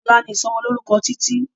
ọlá ní ìsomo lórúko Títí